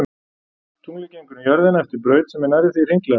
Tunglið gengur um jörðina eftir braut sem er nærri því hringlaga.